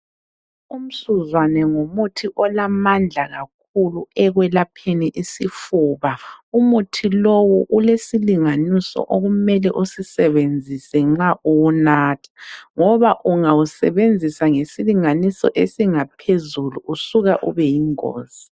Umsuzwane ngumuthi olamandla kakhulu ekwelapheni isifuba. Umuthi lowu ulesilinganiso okumele usisebenzise nxa uwunatha, ngoba ungawusebenzisa ngesilinganiso esingaphezulu usuka ubeyingozi.